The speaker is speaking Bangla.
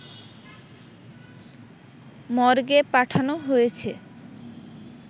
মর্গে পাঠানো হয়েছে